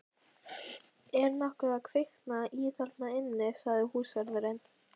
Er nokkuð að kvikna í þarna inni? sagði húsvörðurinn.